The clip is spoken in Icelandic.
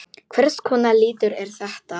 Hvers konar litur er þetta?